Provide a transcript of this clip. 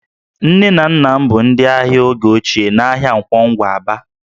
Nne na nna m bụ ndị ahịa oge ochie n'ahịa Nkwọ Ngwa, Aba